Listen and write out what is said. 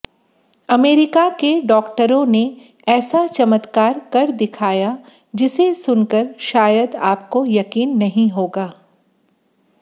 America के डॉक्टरों ने ऐसा चमत्कार कर दिखया जिसे सुनकर शायद आपको यकीन नहीं होगा